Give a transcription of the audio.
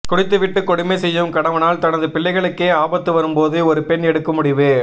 குடித்து விட்டு கொடுமை செய்யும் கணவனால் தனது பிள்ளைகளுக்கே ஆபத்து வரும்போது ஒரு பெண் எடுக்கும் முடிவு